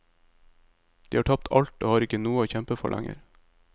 De har tapt alt, og har ikke noe å kjempe for lenger.